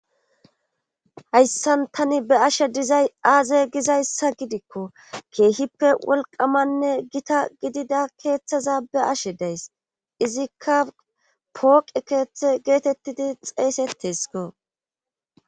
Hayssan tani be ashe dizay aaze gizayssa gidikko keehippe wolqamanne gita gidida keeththaza be ashe days izikka pooqe keeththe geetettidi xeeysetesko.